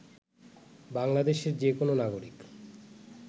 বাংলাদেশের যে কোন নাগরিক